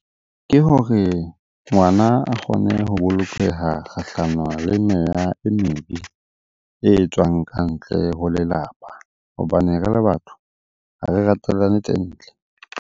Ke hore ngwana a kgone ho bolokeha kgahlano le meya e mebe e etswang ka ntle ho lelapa hobane re le batho ha re ratelane tse ntle.